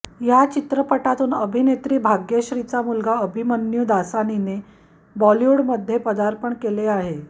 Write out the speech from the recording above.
या चित्रपटातून अभिनेत्री भाग्यश्रीचा मुलगा अभिमन्यू दसानीने बॉलिवूडमध्ये पदार्पण केले आहे